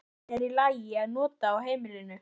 Hvaða efni er í lagi að nota á heimilinu?